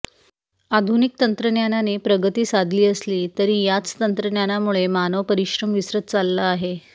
आधुनिक तंत्रज्ञानाने प्रगती साधली असली तरी याच तंत्रज्ञानामुळे मानव परिश्रम विसरत चालला आहे